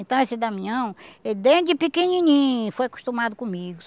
Então, esse Damião, ele desde pequenininho foi acostumado comigo.